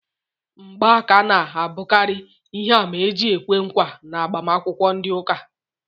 Ngba aka ná abukari ihe àmà eji ekwe nkwa n'agbamakwukwo ndị ụka